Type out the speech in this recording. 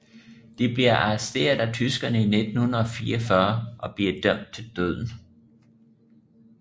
De bliver arresteret af tyskerne i 1944 og bliver dømt til døden